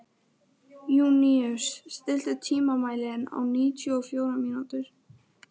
Júníus, stilltu tímamælinn á níutíu og fjórar mínútur.